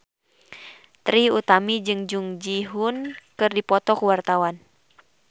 Trie Utami jeung Jung Ji Hoon keur dipoto ku wartawan